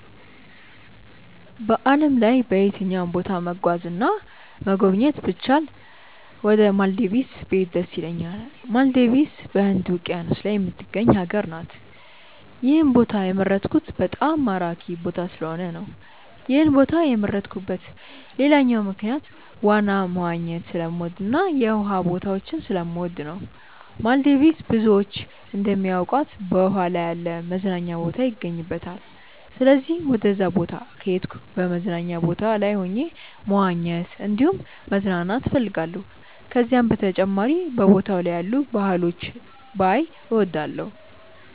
በዓለም ላይ በየትኛውም ቦታ መጓዝ እና መጎብኘት ብችል ወደ ማልዲቭስ ብሄድ ደስ ይለኛል። ማልዲቭስ በህንድ ውቂያኖስ ላይ የምትገኝ ሀገር ናት። ይህን ቦታ የመረጥኩት በጣም ማራኪ ቦታ ስለሆነ ነው። ይህን ቦታ የመረጥኩበት ሌላኛው ምክንያት ዋና መዋኘት ስለምወድ እና የውሃ ቦታዎችን ስለምወድ ነው። ማልዲቭስ ብዙዎች እንደሚያውቁት በውሃ ላይ ያለ መዝናኛ ቦታ ይገኝባታል። ስለዚህም ወደዛ ቦታ ከሄድኩ በመዝናኛ ቦታው ላይ ሆኜ መዋኘት እንዲሁም መዝናናት እፈልጋለሁ። ከዚህም በተጨማሪ በቦታው ላይ ያሉ ባህሎችን ባይ እወዳለሁ።